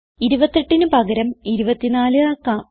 28ന് പകരം 24 ആക്കാം